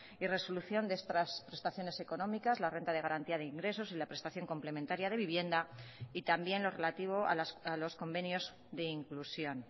y resolución de estas prestaciones económicas la renta de garantía de ingresos y la prestación complementaria de vivienda y también lo relativo a los convenios de inclusión